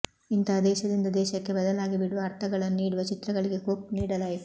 ಇಂತಹ ದೇಶದಿಂದ ದೇಶಕ್ಕೆ ಬದಲಾಗಿಬಿಡುವ ಅರ್ಥಗಳನ್ನು ನೀಡುವ ಚಿತ್ರಗಳಿಗೆ ಕೊಕ್ ನೀಡಲಾಯಿತು